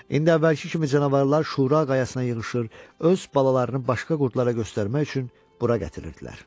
İndi əvvəlki kimi canavarlar şura qayasına yığışır, öz balalarını başqa qurdlarıa göstərmək üçün bura gətirirdilər.